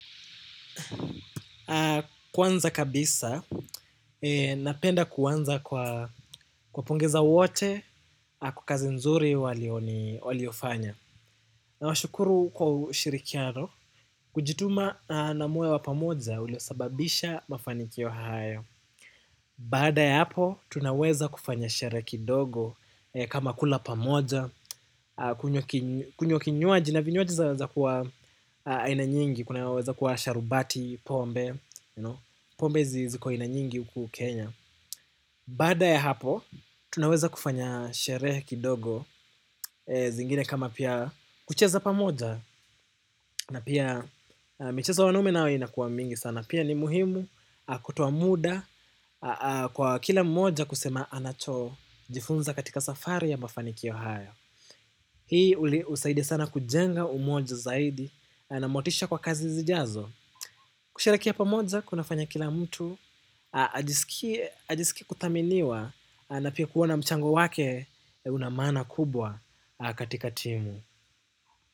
Kwanza kabisa, napenda kuanza kuwapongeza wote, kwa kazi nzuri waliofanya. Nawashukuru kwa ushirikiano, kujituma na moyo wa pamoja uliosababisha mafanikio hayo. Baada ya hapo, tunaweza kufanya sherehe kidogo kama kula pamoja kunywa ki kunywa kinywaji na vinywaji zaweza kuwa aina nyingi, kunaweza kuwa sharubati, pombe. Pombe ziko aina nyingi huku Kenya. Baada ya hapo, tunaweza kufanya sherehe kidogo. Zingine kama pia kucheza pamoja. Na pia michezo ya wanume nayo inakuwa mingi sana. Pia ni muhimu kutoa muda kwa kila mmoja kusema anacho. Jifunza katika safari ya mafanikio hayo. Hii hunisaidia sana kujenga umoja zaidi. Na motisha kwa kazi zijazo kusherekea pamoja, kunafanya kila mtu ajisikie kuthaminiwa na pia kuona mchango wake. Unamaana kubwa katika timu.